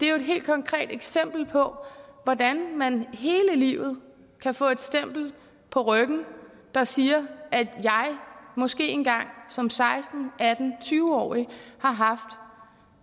jo et helt konkret eksempel på hvordan man hele livet kan få et stempel på ryggen der siger at man måske engang som seksten atten tyve årig har haft